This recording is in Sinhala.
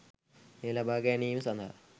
එය ලබාගැනීම සඳහා